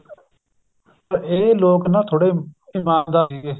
ਇਹ ਲੋਕ ਨਾ ਥੋੜੇ ਦਿਮਾਗਦਾਰ ਸੀਗੇ